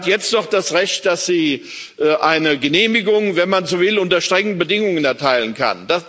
Sie hat jetzt noch das Recht, dass sie eine Genehmigung wenn man so will unter strengen Bedingungen erteilen kann.